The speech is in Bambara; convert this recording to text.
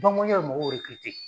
Banki mɔnjali ye mɔgɔw erekirite